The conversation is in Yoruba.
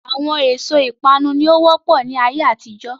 Àwọn èso ìpanu ni ó wọ́pọ̀ ni ayé àtijọ́